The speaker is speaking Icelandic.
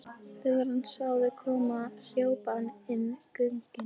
Þegar hann sá þau koma hljóp hann inn göngin.